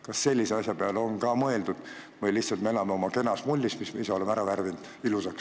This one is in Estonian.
Kas sellise asja peale on ka mõeldud või me lihtsalt elame oma kenas mullis, mille me ise oleme ilusaks värvinud?